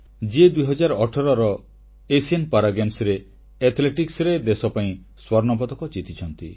ଯିଏ 2018ର ଏସୀୟ ପାରା ଆଥଲେଟିକ୍ସରେ ଦେଶ ପାଇଁ ସ୍ୱର୍ଣ୍ଣପଦକ ଜିତିଛନ୍ତି